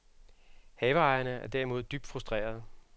Haveejerne er derimod dybt frustrerede.